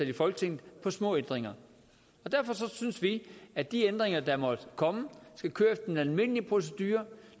i folketinget for små ændringer derfor synes vi at de ændringer der måtte komme skal køre efter den almindelige procedure